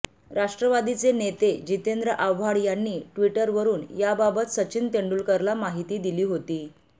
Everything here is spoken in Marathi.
राष्ट्रवादीचे नेते जितेंद्र आव्हाड यांनी ट्विटरवरुन याबाबत सचिन तेंडुलकरला माहिती दिली होती